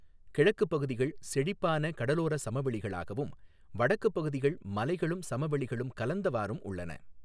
கிழக்குப் பகுதிகள் செழிப்பான கடலோர சமவெளிகளாகவும், வடக்குப் பகுதிகள் மலைகளும் சமவெளிகளும் கலந்தவாறும் உள்ளன.